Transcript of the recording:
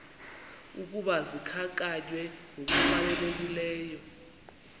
ukuba zikhankanywe ngokufanelekileyo